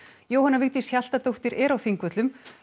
Jóhanna Vigdís Hjaltadóttir er á Þingvöllum